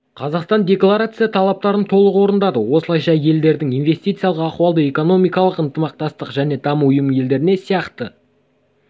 қазақстан декларация талаптарын толық орындады осылайша елдеріңіз инвестициялық ахуалды экономикалық ынтымақтастық және даму ұйымы елдеріне сияқты